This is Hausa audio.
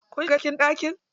Kun shiga cikin ɗakin?